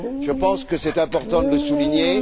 Je pense qu'il est important de le souligner.